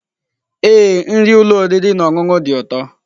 Ee, nri ụlọ oriri na ọṅụṅụ dị ụtọ.